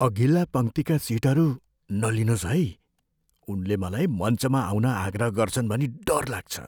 अघिल्ला पङ्क्तिका सिटहरू नलिनुहोस् है। उनले मलाई मञ्चमा आउन आग्रह गर्छन् भनी डर लाग्छ।